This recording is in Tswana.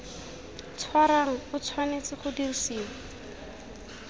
tshwarang o tshwanetse go dirisiwa